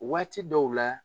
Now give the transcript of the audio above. Waati dɔw la